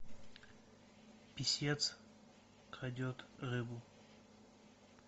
писец крадет рыбу